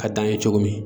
Ka taa n ye cogo min